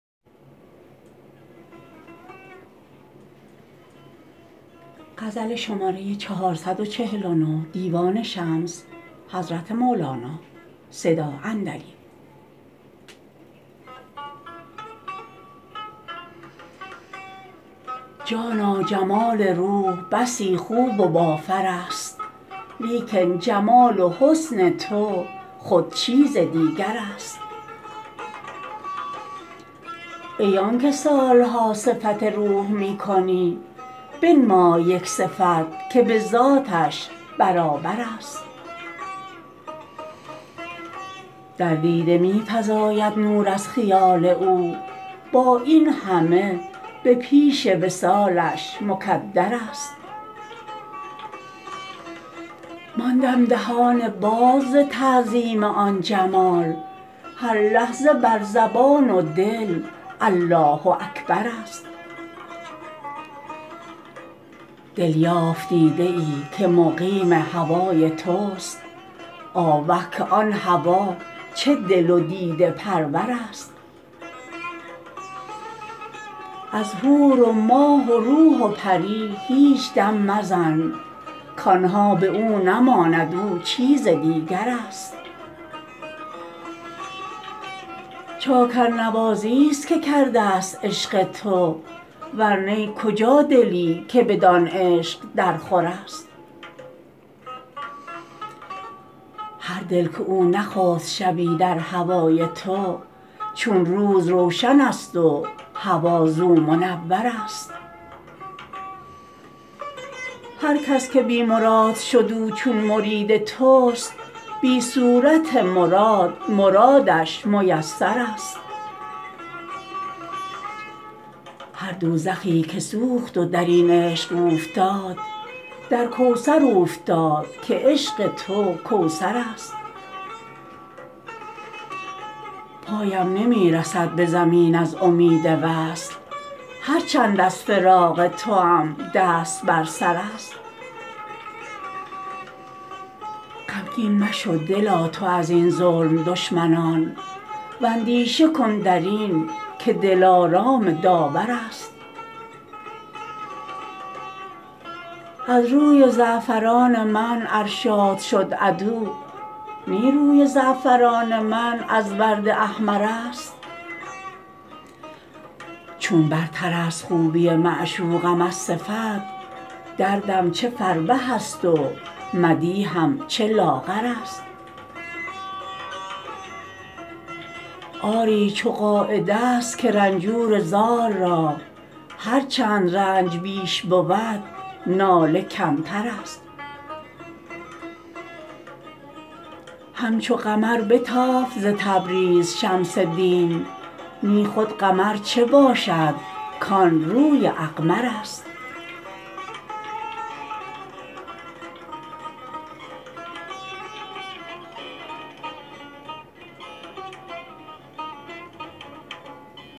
جانا جمال روح بسی خوب و بافرست لیکن جمال و حسن تو خود چیز دیگرست ای آنک سال ها صفت روح می کنی بنمای یک صفت که به ذاتش برابرست در دیده می فزاید نور از خیال او با این همه به پیش وصالش مکدرست ماندم دهان باز ز تعظیم آن جمال هر لحظه بر زبان و دل الله اکبرست دل یافت دیده ای که مقیم هوای توست آوه که آن هوا چه دل و دیده پرورست از حور و ماه و روح و پری هیچ دم مزن کان ها به او نماند او چیز دیگرست چاکرنوازیست که کردست عشق تو ور نی کجا دلی که بدان عشق درخورست هر دل که او نخفت شبی در هوای تو چون روز روشنست و هوا زو منورست هر کس که بی مراد شد او چون مرید توست بی صورت مراد مرادش میسرست هر دوزخی که سوخت و در این عشق اوفتاد در کوثر اوفتاد که عشق تو کوثرست پایم نمی رسد به زمین از امید وصل هر چند از فراق توام دست بر سرست غمگین مشو دلا تو از این ظلم دشمنان اندیشه کن در این که دلارام داورست از روی زعفران من ار شاد شد عدو نی روی زعفران من از ورد احمرست چون برترست خوبی معشوقم از صفت دردم چه فربه ست و مدیحم چه لاغرست آری چو قاعده ست که رنجور زار را هر چند رنج بیش بود ناله کمترست همچون قمر بتافت ز تبریز شمس دین نی خود قمر چه باشد کان روی اقمرست